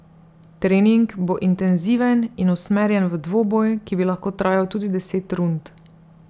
Trening bo intenziven in usmerjen v dvoboj, ki bi lahko trajal tudi deset rund.